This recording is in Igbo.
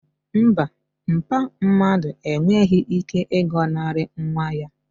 Mba, mpa mmadu enweghị ike ịgọnarị nwa ya